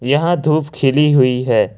यहां धूप खिली हुई है।